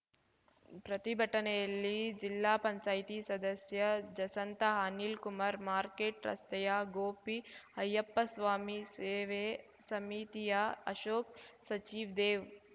ಪ್ರತಿಭಟನೆಯಲ್ಲಿ ಜಿಲ್ಲಾ ಪಂಚಾಯ್ತಿ ಸದಸ್ಯೆ ಜಸ್ಸಂತಾ ಅನಿಲ್‌ಕುಮಾರ್ ಮಾರ್ಕೆಟ್‌ ರಸ್ತೆಯ ಗೋಪಿ ಅಯ್ಯಪ್ಪಸ್ವಾಮಿ ಸೇವೆ ಸಮಿತಿಯ ಅಶೋಕ್‌ ಸಚ್ಛಿದೇವ್‌